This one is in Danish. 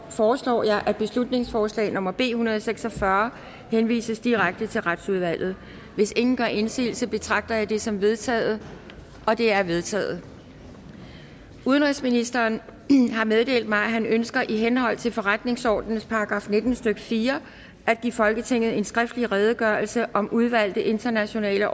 foreslår jeg at beslutningsforslag nummer b en hundrede og seks og fyrre henvises direkte til retsudvalget hvis ingen gør indsigelse betragter jeg det som vedtaget det er vedtaget udenrigsministeren har meddelt mig at han ønsker i henhold til forretningsordenens § nitten stykke fire at give folketinget en skriftlig redegørelse om udvalgte internationale